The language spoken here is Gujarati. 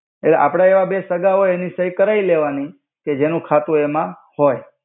એટ્લે આપ્ણા એવા બે સગા હોય એનિ સઈ કરાઇ લેવાનિ કે જેનુ ખાતુ એમા હોય.